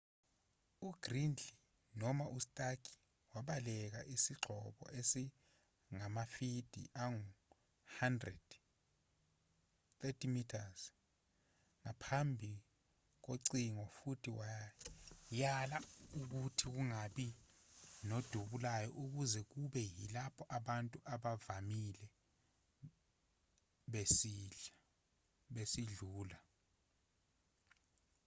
ugridley noma ustark wabeka isigxobo esingamafidi angu-100 30 m phambi kocingo futhi wayala ukuthi kungabi nodubulayo kuze kube yilapho abantu abavamile besidlula